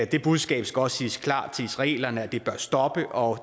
det budskab skal også siges klart til israelerne at det bør stoppe og